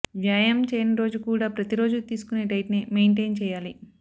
వ్యాయామం చేయని రోజు కూడా ప్రతి రోజూ తీసుకొనే డైట్ నే మెయింటైన్ చేయాలి